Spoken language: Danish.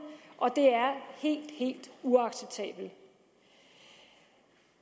og det er helt helt uacceptabelt